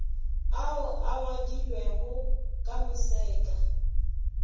ao a ngwadilwego ka moseka